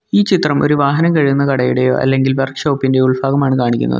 ഈ ചിത്രം ഒരു വാഹനം കഴുകുന്ന കടയുടെയോ അല്ലെങ്കിൽ വർക്ക്ഷോപ്പിൻ്റെയോ ഉൾഭാഗമാണ് കാണിക്കുന്നത്.